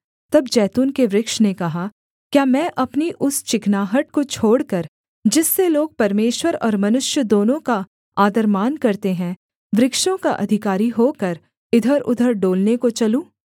तब जैतून के वृक्ष ने कहा क्या मैं अपनी उस चिकनाहट को छोड़कर जिससे लोग परमेश्वर और मनुष्य दोनों का आदरमान करते हैं वृक्षों का अधिकारी होकर इधरउधर डोलने को चलूँ